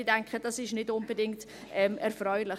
Ich denke, dies ist nicht unbedingt erfreulich.